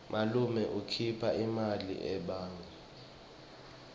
malume ukhipha imali ebhange